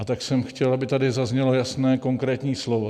A tak jsem chtěl, aby tady zaznělo jasné, konkrétní slovo.